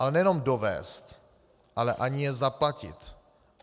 Ale nejenom dovézt, ale ani je zaplatit.